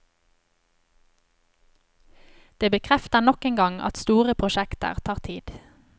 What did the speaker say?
Det bekrefter nok en gang at store prosjekter tar tid.